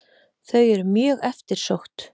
Þau eru mjög eftirsótt.